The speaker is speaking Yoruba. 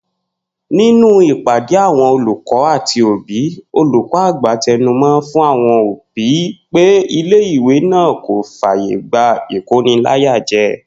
Nínú ìpádé àwo̩n olùkó̩ àti òbí, olùkó̩ àgbà te̩numo̩ f̀ún àwo̩n òbí pé ilé ìwé náà kò fàyè gba ìkóniláyàje̩